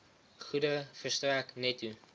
goedere verstrek netto